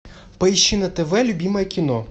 поищи на тв любимое кино